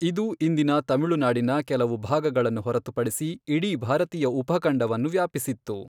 ಇದು ಇಂದಿನ ತಮಿಳುನಾಡಿನ ಕೆಲವು ಭಾಗಗಳನ್ನು ಹೊರತುಪಡಿಸಿ ಇಡೀ ಭಾರತೀಯ ಉಪಖಂಡವನ್ನು ವ್ಯಾಪಿಸಿತ್ತು.